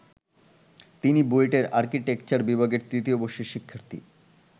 তিনি বুয়েটের আর্কিটেকচার বিভাগের তৃতীয় বর্ষের শিক্ষার্থী।